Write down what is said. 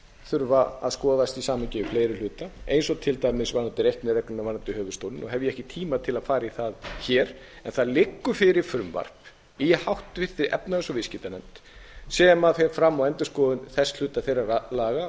þurfa að skoðast í samhengi við fleiri hluta eins og til dæmis varðandi reikniregluna varðandi höfuðstólinn og hef ég ekki tíma til að fara í það hér en það liggur fyrir frumvarp í háttvirtri efnahags og viðskiptanefnd sem fer fram á endurskoðun þess hluta þeirra laga